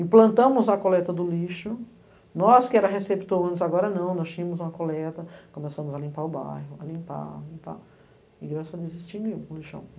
Implantamos a coleta do lixo, nós que éramos receptores, agora não, nós tínhamos uma coleta, começamos a limpar o bairro, a limpar, limpar, e graças a Deus extinguiu o lixão.